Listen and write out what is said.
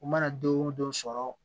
U mana don o don sɔrɔ